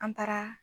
An taara